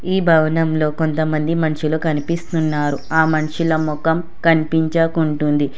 ఈ భవనంలో కొంతమంది మనుషులు కనిపిస్తున్నారు ఆ మనుషుల మొఖం కనిపించకుంటుంది.